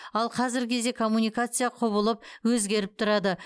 ал қазіргі кезде коммуникация құбылып өзгеріп тұрады